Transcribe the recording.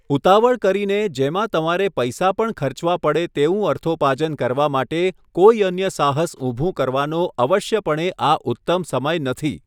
ઉતાવળ કરીને જેમાં તમારે પૈસા પણ ખર્ચવા પડે તેવું અર્થોપાર્જન કરવા માટે કોઈ અન્ય સાહસ ઉભું કરવાનો અવશ્યપણે આ ઉત્તમ સમય નથી.